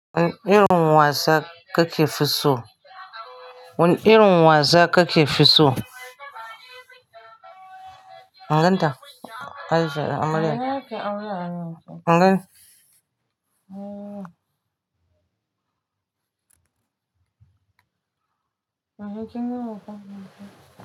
Wane irin wasa kake fi so? Wane irin wasa kake fi so? Inganta? Aisha da Amaryar Me ake aure a nan? Ingan? Eh. Wai har kin gama kwana?